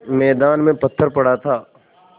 मैदान में पत्थर पड़ा था